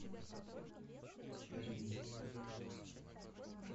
бриз